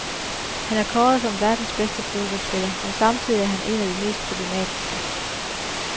Han er kåret som verdens bedste fodboldspiller, men samtidig er han en af de mest problematiske.